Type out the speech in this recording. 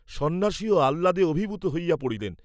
সন্ন্যাসীও আহ্লাদে অভিভূত হইয়া পড়িলেন।